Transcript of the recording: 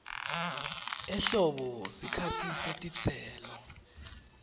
ehlobo sikhatsi setitselo